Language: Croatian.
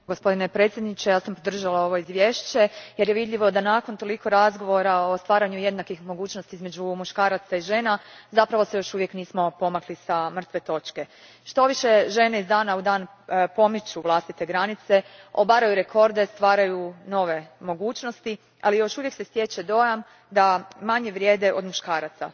Gospodine predsjedniče, ja sam podržala ovo izvješće jer je vidljivo da se nakon toliko razgovora o stvaranju jednakih mogućnosti između muškaraca i žena zapravo još uvijek nismo pomakli s mrtve točke. Štoviše, žene iz dana u dan pomiču vlastite granice, obaraju rekorde, stvaraju nove mogućnosti, ali još uvijek se stječe dojam da manje vrijedeˮ od muškaraca.